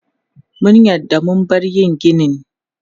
Mun yarda mu bar yin ginin.